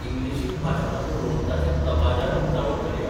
इंग्लिशित भाशणां करून ताचें दबाज्यान उक्तावण करया !